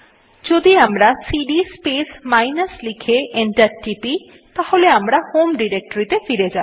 যদি আমরা CD space minus লিখে এন্টার টিপি তাহলে আমরা হোম ডিরেক্টরীতে ফিরে যাব